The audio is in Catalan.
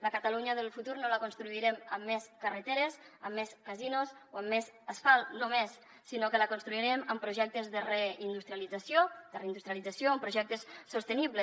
la catalunya del futur no la construirem amb més carreteres amb més casinos o amb més asfalt només sinó que la construirem amb projectes de re industrialització de reindustrialització o amb projectes sostenibles